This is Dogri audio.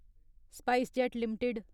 SpiceJet limited